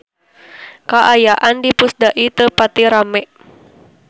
Kaayaan di Pusdai teu pati rame